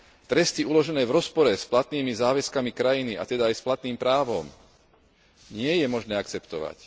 Tresty uložené v rozpore s platnými záväzkami krajiny, a teda aj s platným právom nie je možné akceptovať.